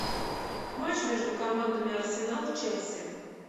матч между командами арсенал челси